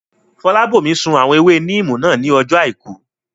Fọlábòmí sun àwọn ewé níìmù náà ní ọjọ́ àìkú